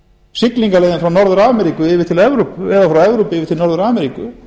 siglingaleiðin frá norður ameríku yfir til evrópu eða frá evrópu yfir til norður ameríku